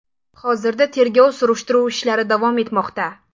Hozirda tergov surishtiruv ishlari davom etmoqda.